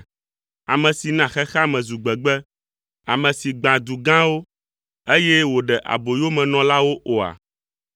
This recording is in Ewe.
ame si na xexea me zu gbegbe, ame si gbã du gãwo, eye wòɖe aboyo emenɔlawo oa?”